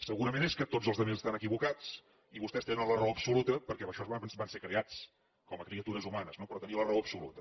segurament és que tots els altres estan equivocats i vostès tenen la raó absoluta perquè per això van ser creats com a criatures humanes no per tenir la raó absoluta